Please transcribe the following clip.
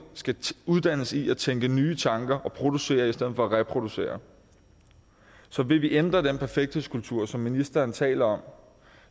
skal uddannes i at tænke nye tanker og producere i stedet for at reproducere så vil vi ændre den perfekthedskultur som ministeren taler om